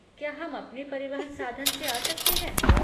क्या हम अपने परिवहन साधन से आ सकते हैं?